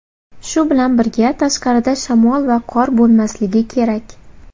Shu bilan birga, tashqarida shamol va qor bo‘lmasligi kerak.